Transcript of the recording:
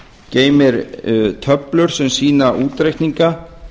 geymir töflur sem sýna útreikninga